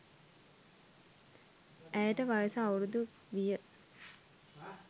ඇයට වයස අවුරුදු ක් විය